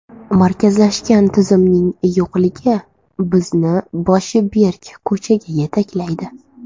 Markazlashgan tizimning yo‘qligi bizni boshi berk ko‘chaga yetaklaydi.